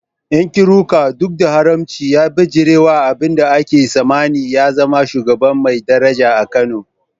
Nkiruka, duk da haramcin, ya bijirewa abin da ake tsammani, ya zama shugaba mai daraja a Kano.